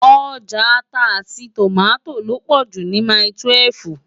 Òjá àtá áti tómátó lópò jú ni mái-túwèf